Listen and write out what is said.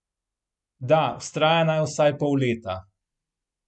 Da, vztraja naj vsaj pol leta.